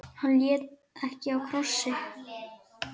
Hann hélt ekki á krossi.